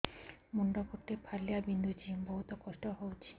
ମୁଣ୍ଡ ଗୋଟେ ଫାଳିଆ ବିନ୍ଧୁଚି ବହୁତ କଷ୍ଟ ହଉଚି